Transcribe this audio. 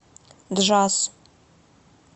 джаз